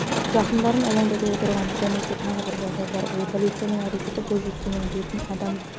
жақындарын алаңдатып отырған бұдан өзге тағы бір жағдай бар ол полицияның әрекеті бойжеткеннің бетін адам